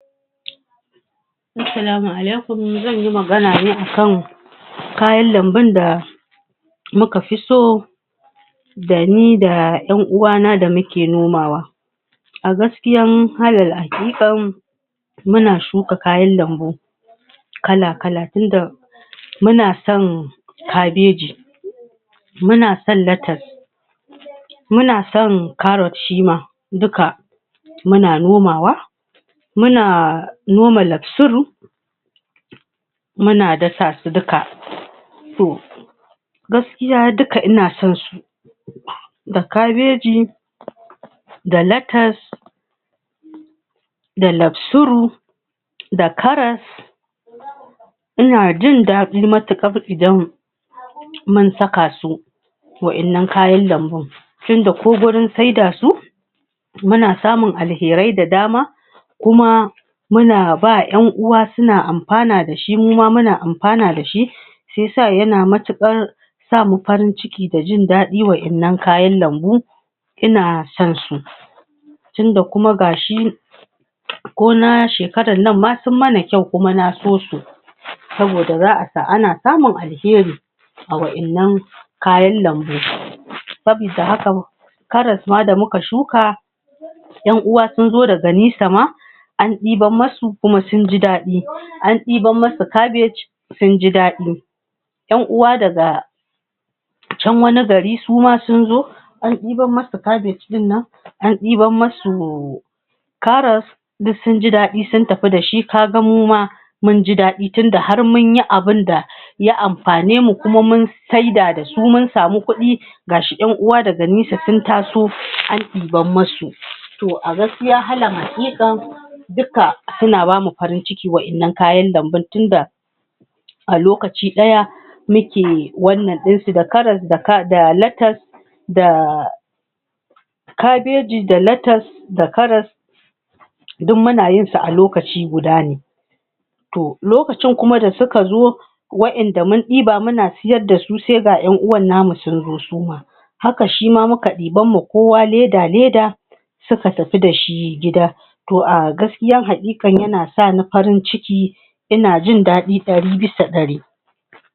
Assalamu alaikum! Zan yi magan ne a kan kayan lambun da muka fi so da ni da ƴan uwana da muke nomawa. A gaskiyan alal haƙiƙam muna shuka kayan lambu kala-kala tunda muna son kabeji muna son latas muna son karot shi ma duka muna nomawa muna noma laksuru muna dasa su duka. To, gaskiya duka ina son su da kabeji da latas da laksuru da karas ina jin daɗi matuƙar idan mun saka su waɗannan kayan lambun tunda ko gurin sai da su muna son alherai da dama kuma muna ba wa ƴan uwa suna amfana da shi, mu ma muna amfana da shi shi ya sa yana matuƙar sa mu farin ciki da jin daɗi waɗannan kayan lambu Ina sonsu tunda kuma ga shi ko na shekarar nan ma sun mana kyau kuma na so su saboda ana samun alheri a waɗannan kayan lambun karas ma da muka shuka ƴan uwa sun zo daga nisa ma an ɗiban musu kuma sun ji daɗi; an ɗiban musu kabej sun ji daɗi ƴan uwa daga can wani gari su ma sun zo, an ɗiban musu kabej ɗin nan, an ɗiban musu karas, duk sun ji daɗi sun tafi da shi, ka zamo ma mun ji daɗi tunda har mun yi abin da ya mafane mu kuma mun saida da su mun samu kuɗi ga shi ƴan uwa daga nesa sun taso an ɗiban musu. To a gaskiya alal haƙiƙa dukka suna ba mu farin ciki waɗannan kayan lambun tunda a lokaci muke wannan ɗinsu. Da karas da latas\ da kabeji da latas da karas duk muna yinsu a lokaci guda ne To lokacin kuma da suka zo waɗanda mun ɗiba muna sayar da su sai ga yan uwan namu sun zo su ma Haka shi ma muka ɗiban ma kowa leda-leda suka tafi da shi gida to a gaskiya haƙiƙa yana sa ni farin ciki ina jin daɗi ɗari bisa ɗari.